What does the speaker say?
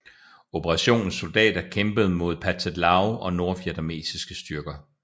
Operationens soldater kæmpede mod Pathet Lao og nordvietnamesiske styrker